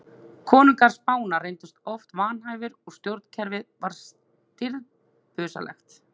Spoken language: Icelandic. Konungar Spánar reyndust oft vanhæfir og stjórnkerfið var stirðbusalegt.